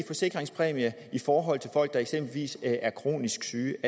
forsikringspræmien i forhold til folk der eksempelvis er kronisk syge